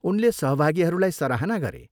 उनले सहभागीहरूलाई सराहना गरे।